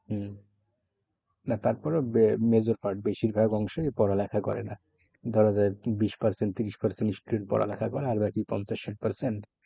হম না তারপরেও major part বেশিরভাগ অংশই পড়ালেখা করে না। ধরা যায় বিশ percent তিরিশ percent student পড়ালেখা করে আর বাকি পঞ্চাশ ষাট percent